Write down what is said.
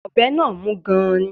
Ọ̀bẹ náà mú gan-an ni